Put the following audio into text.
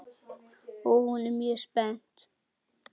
Og hún er mjög spennt.